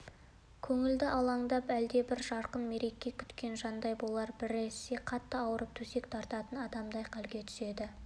көңілі алаңдап әлдебір жарқын мереке күткен жандай болады біресе қатты ауырып төсек тартатын адамдай халге түседі